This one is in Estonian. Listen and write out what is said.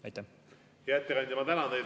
Hea ettekandja, ma tänan teid!